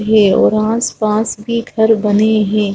है और आसपास भी घर बने हैं।